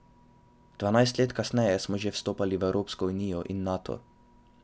Dvanajst let kasneje smo že vstopali v Evropsko unijo in Nato.